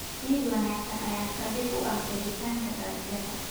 Ciid wanaagsan ayaa saldhig u ah beeritaanka dalagyada.